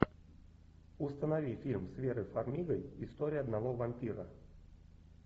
установи фильм с верой фармигой история одного вампира